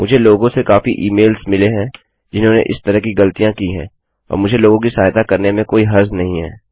मुझे लोगों से काफी ई मेल्स मिले हैं जिन्होंने इस तरह की ग़लतियाँ की हैं और मुझे लोगों की सहायता करने में कोई हर्ज़ नहीं है